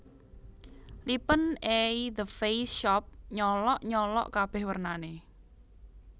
Lipen e The Face Shop nyolok nyolok kabeh wernane